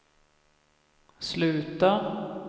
sluta